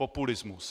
Populismus.